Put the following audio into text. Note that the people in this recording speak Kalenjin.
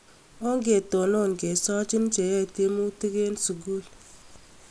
Ongetunun kesachi cheyae tiemutuk eng sukul